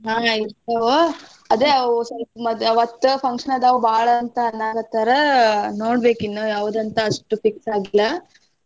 ಹಾ ಇರ್ತಾವ್ ಅದೇ ಅವು ಸ್ವಲ್ಪ ಮದ್ವಿ ಅವತ್ತ function ಅದಾವ ಬಾಳ ಅಂತ ಅನ್ನಾಕತ್ತಾರ ನೋಡ್ಬೇಕಿನ್ನು ಯಾವ್ದ್ ಅಂತ ಅಷ್ಟು fix ಆಗಿಲ್ಲ.